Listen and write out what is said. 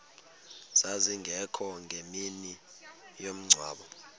zazingekho ngemini yomngcwabo